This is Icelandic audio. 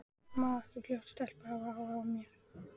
Má ekki flott stelpa hafa áhuga á mér?